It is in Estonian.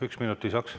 Üks minut lisaks.